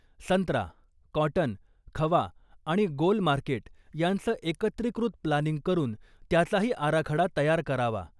संत्रा, कॉटन, खवा आणि गोल मार्केट यांचं एकत्रिकृत प्लानिंग करून त्याचाही आराखडा तयार करावा.